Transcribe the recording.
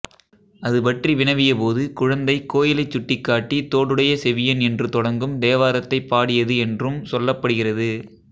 அது பற்றி வினவிய போது குழந்தை கோயிலைச் சுட்டிக்காட்டித் தோடுடைய செவியன் என்று தொடங்கும் தேவாரத்தைப் பாடியது என்றும் சொல்லப்படுகிறது